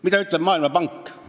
Mida ütleb Maailmapank?